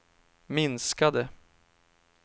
minskade